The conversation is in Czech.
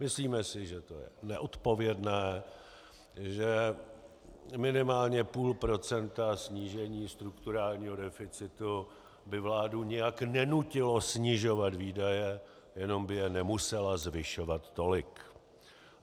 Myslíme si, že to je neodpovědné, že minimálně půl procenta snížení strukturálního deficitu by vládu nijak nenutilo snižovat výdaje, jenom by je nemusela zvyšovat tolik.